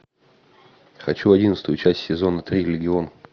хочу одиннадцатую часть сезона три легион